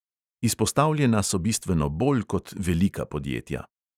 Izpostavljena so bistveno bolj kot velika podjetja.